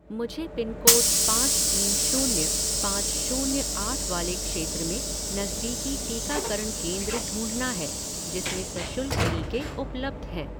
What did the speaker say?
मुझे पिनकोड पाँच तीन शून्य पाँच शून्य आठ वाले क्षेत्र में नज़दीकी टीकाकरण केंद्र ढूँढना है जिसमें सशुल्क टीके उपलब्ध हैं